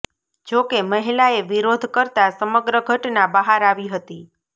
જોકે મહિલાએ વિરોધ કરતા સમગ્ર ઘટના બહાર આવી હતી